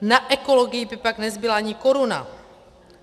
Na ekologii by pak nezbyla ani koruna.